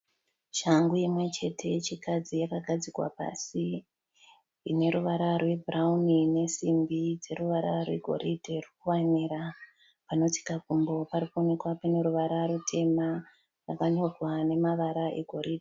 Shangu imwe chete yechikadzi yakagadzikwa pasi. Ine ruvara rwebhurawuni nesimbi dze ruvara rwegoridhe rwekuwanira. Panotsika gumbo parikuwonekwa pane ruvara rutema neruvara rwegoridhe.